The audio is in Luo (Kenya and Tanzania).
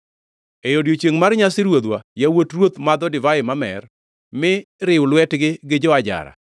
E odiechiengʼ mar nyasi ruodhwa yawuot ruoth madho divai mamer, mi riw lwetgi gi jo-ajara.